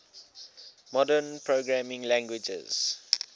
modern programming languages